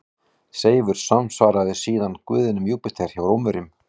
Seifur samsvaraði síðar guðinum Júpíter hjá Rómverjum.